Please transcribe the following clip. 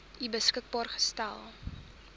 u beskikbaar gestel